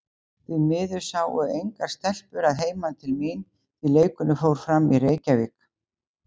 Því miður sáu engar stelpur að heiman til mín, því leikurinn fór fram í Reykjavík.